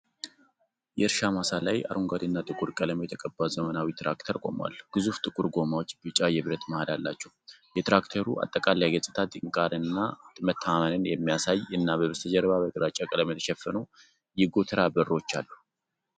የእርሻ ማሳ ላይ አረንጓዴና ጥቁር ቀለም የተቀባ ዘመናዊ ትራክተር ቆሟል። ግዙፍ ጥቁር ጎማዎቹ ቢጫ የብረት መሃል አላቸው። የትራክተሩ አጠቃላይ ገጽታ ጥንካሬን እና መተማመንን የሚያሳይ እና በስተጀርባ በግራጫ ቀለም የተሸፈኑ የጎተራ በሮች አሉ።